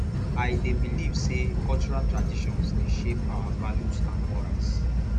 i dey believe say cultural traditions dey shape our values and morals